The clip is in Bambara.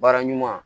Baara ɲuman